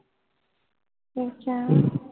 ਅੱਛਾ